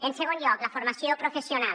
en segon lloc la formació professional